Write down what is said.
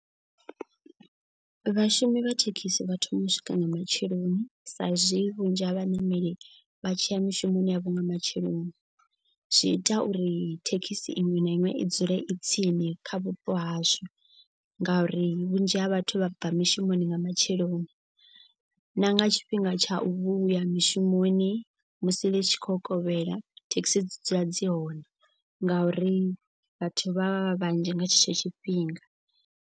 Vhashumi vha thekhisi vha thoma u swika nga matsheloni sa izwi vhunzhi ha vhaṋameli vha tshiya mishumoni yavho nga matsheloni. Zwi ita uri thekhisi iṅwe na iṅwe i dzule i tsini kha vhupo hazwo. Ngauri vhunzhi ha vhathu vha bva mishumoni nga matsheloni na nga tshifhinga tsha u vhuya mishumoni. Musi ḽi tshi kho kovhela thekhisi dzi dzula dzi hone ngauri vhathu vha vha vha vhanzhi nga tshetsho tshifhinga.